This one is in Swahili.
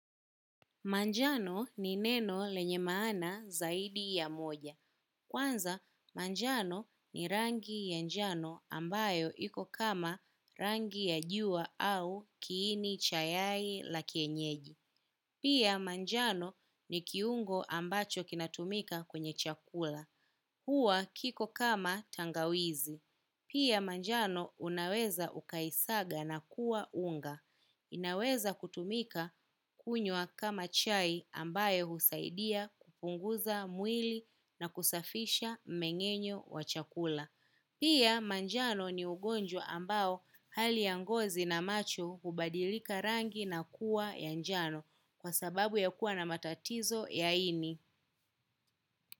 Manjano ni neno lenye maana zaidi ya moja. Kwanza, manjano ni rangi ya njano ambayo iko kama rangi ya jua au kiini chayai la kienyeji. Pia manjano ni kiungo ambacho kinatumika kwenye chakula. Hua kiko kama tangawizi. Pia manjano unaweza ukaisaga na kuwa unga. Inaweza kutumika kunywa kama chai ambayo husaidia kupunguza mwili na kusafisha mengenyo wa chakula. Pia manjano ni ugonjwa ambao hali yangozi na macho hubadilika rangi na kuwa ya njano kwa sababu ya kuwa na matatizo ya ini.